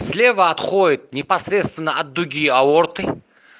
слева отходит непосредственно от дуги аорты